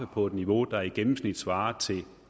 på et niveau der i gennemsnit svarer til